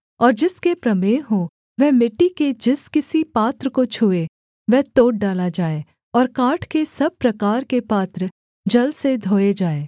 और जिसके प्रमेह हो वह मिट्टी के जिस किसी पात्र को छूए वह तोड़ डाला जाए और काठ के सब प्रकार के पात्र जल से धोए जाएँ